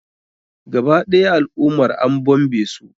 Gaba ɗaya al'ummar an bombe su.